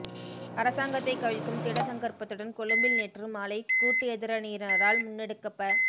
அரசாங்கத்தை கவிழ்க்கும் திடசங்கற்பத்துடன் கொழும்பில் நேற்று மாலை கூட்டு எதிரணியினரால் முன்னெடுக்கப்ப